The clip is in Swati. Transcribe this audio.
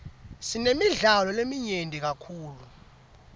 sinemidlalo leminyenti kakhulu